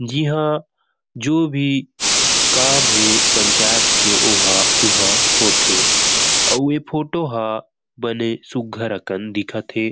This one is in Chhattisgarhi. इहां जो भी काम हे पंचायत के ओहा ऊहा होंथे अऊ ए फोटो ह बने सुग्गर अकन दिखत थे।